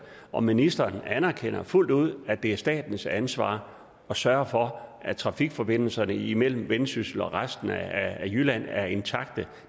om ministeren anerkender fuldt ud at det er statens ansvar at sørge for at trafikforbindelserne imellem vendsyssel og resten af jylland er intakte